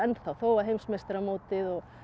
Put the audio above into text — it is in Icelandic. þó að heimsmeistaramótið og